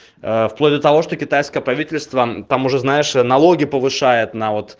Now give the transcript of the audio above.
вплоть до того что китайское правительство там уже знаешь налоги повышает на вот